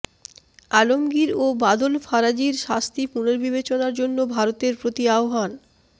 আলমগীর ও বাদল ফারাজির শাস্তি পুনর্বিবেচনার জন্য ভারতের প্রতি আহ্বান